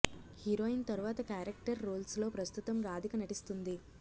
heroine తరువాత character roles లో ప్రస్తుతం రాధిక నటిస్తుంది